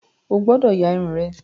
O gbọ́dọ̀ ya Irun rẹ!